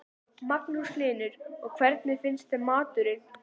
Magnús Hlynur: Og hvernig finnst þeim maturinn?